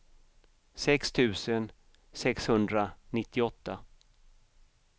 sex tusen sexhundranittioåtta